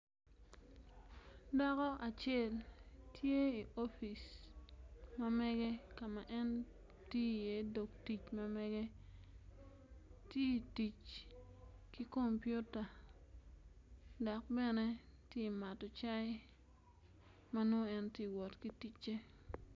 Dako acel tye i opic ma mege ka ma en tiyo iye dog tic ma mege ti tic ki kompiota dok bene ti mato cai ma nongo en ti wot ki ticce.